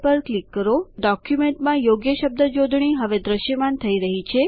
તમે જોઈ શકો છો કે ડોક્યુમેન્ટમાં યોગ્ય શબ્દ જોડણી હવે દ્રશ્યમાન થઇ રહી છે